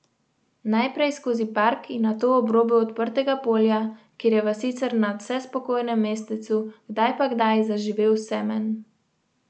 Najprej skozi park in nato ob robu odprtega polja, kjer je v sicer nadvse spokojnem mestecu kdaj pa kdaj zaživel semenj.